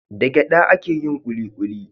Da gyada ake yin kulikuli